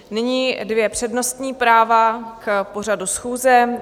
Nyní dvě přednostní práva k pořadu schůze.